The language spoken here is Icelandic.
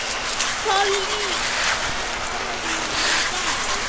Polly, hvað er á áætluninni minni í dag?